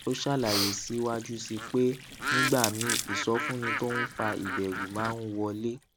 ó ṣàlàyé síwájú sí i pé nígbà míì ìsọfúnni tó ń fa ìbèrù máa ń wọlé